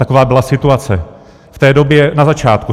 Taková byla situace v té době na začátku.